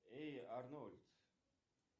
эй арнольд